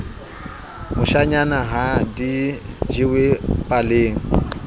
moshanyana ha di jewe paleng